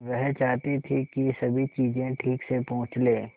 वह चाहती थी कि सभी चीजें ठीक से पूछ ले